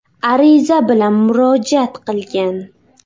ariza bilan murojaat qilgan.